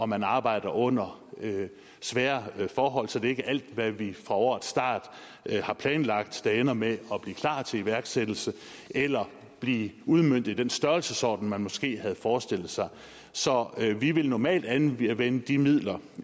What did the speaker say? man arbejder under svære forhold så det er ikke alt hvad vi fra årets start har planlagt der ender med at blive klart til iværksættelse eller blive udmøntet i den størrelsesorden man måske havde forestillet sig så vi vil normalt anvende de midler